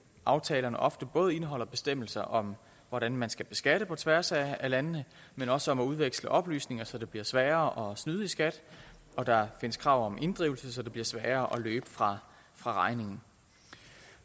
aftalerne ofte både indeholder bestemmelser om hvordan man skal beskatte på tværs af landene men også om at udveksle oplysninger så det bliver sværere at snyde i skat og der findes krav om inddrivelse så det bliver sværere at løbe fra fra regningen